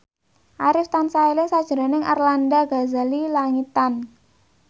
Arif tansah eling sakjroning Arlanda Ghazali Langitan